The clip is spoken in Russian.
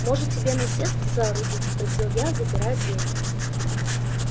может тебе насест соорудить спросил я запирая дверь